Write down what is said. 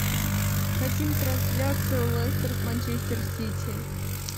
хотим трансляцию лестер с манчестер сити